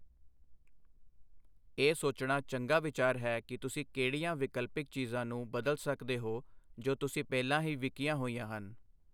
ਇਹ ਸੋਚਣਾ ਚੰਗਾ ਵਿਚਾਰ ਹੈ ਕਿ ਤੁਸੀਂ ਕਿਹੜੀਆਂ ਵਿਕਲਪਿਕ ਚੀਜ਼ਾਂ ਨੂੰ ਬਦਲ ਸਕਦੇ ਹੋ ਜੋ ਤੁਸੀਂ ਪਹਿਲਾਂ ਹੀ ਵਿਕੀਆਂ ਹੋਈਆਂ ਹਨ।